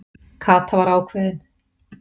Kata var ákveðin.